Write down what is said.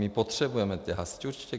My potřebujeme ty hasiče.